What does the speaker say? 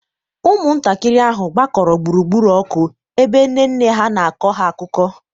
ụmụntakịrị ahụ gbakọrọ gburugburu ọkụ ebe nne nne ha na-akọ ha akụkọ.